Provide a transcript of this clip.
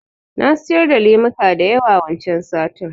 Na siyar da lemuka da yawa wancan satin